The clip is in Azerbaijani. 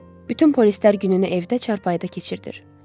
Bütün polislər gününü evdə çarpayıda keçirdir.